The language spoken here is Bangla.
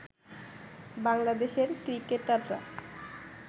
বাংলাদেশের ক্রিকেটাররা